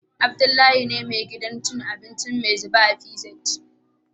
Abdullahi ne me gidan cin abinci "maizube " a PZ